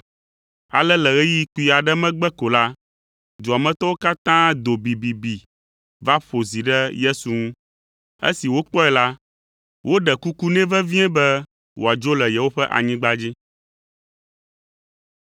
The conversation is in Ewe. Ale le ɣeyiɣi kpui aɖe megbe ko la, dua me tɔwo katã do bibibi va ƒo zi ɖe Yesu ŋu. Esi wokpɔe la, woɖe kuku nɛ vevie be wòadzo le yewoƒe anyigba dzi.